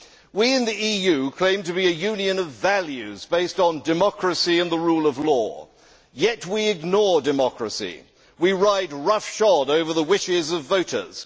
We in the EU claim to be a Union of values, based on democracy and the rule of law, yet we ignore democracy. We ride roughshod over the wishes of voters.